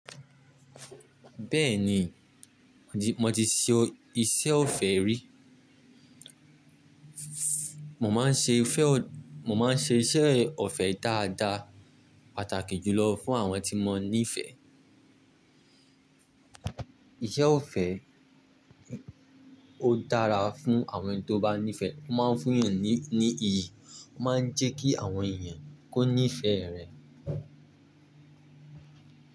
Bẹ́ẹ̀ni, mo ti ṣe iṣẹ́ ọ̀fẹ́ rí. Mo máa ń ṣe iṣẹ́ ọ̀fẹ́ dáadáa, pàtàkì jùlọ fún àwọn tí mo nífẹ̀ẹ́. Iṣẹ́ ọ̀fẹ́ ó dára fún àwọn ẹni tó bá nífẹ̀, ó máa ń fún yàn ní iyì, ó máa ń jẹ́ kí àwọn èèyàn kó nífẹ̀ rẹ̀.